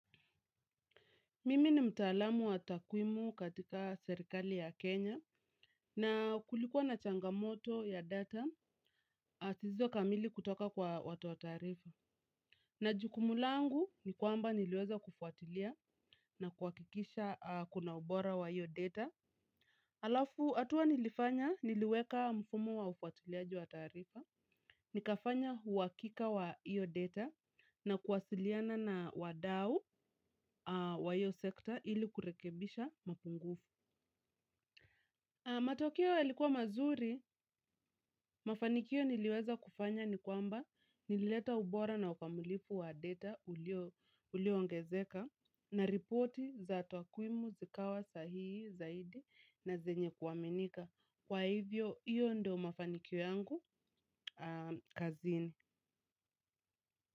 Mimi ni mtaalamu wa takwimu katika serikali ya Kenya na kulikuwa na changamoto ya data atizio kamili kutoka kwa watu wa taarifa. Na jukumu langu ni kwamba niliweza kufuatilia na kuwakikisha kuna ubora wa iyo data. Alafu hatua nilifanya niliweka mfumo wa ufuatiliajwa wa taarifa. Nikafanya huwakika wa iyo data na kuwasiliana na wadau wa hiyo sekta ili kurekebisha mapungufu. Matokeo yalikua mazuri, mafanikio niliweza kufanya ni kwamba nilileta ubora na ukamulifu wa data ulio ongezeka. Na ripoti za takwimu zikawa sahihi zaidi na zenye kuwaminika. Kwa hivyo, iyo ndo mafanikio yangu kazini.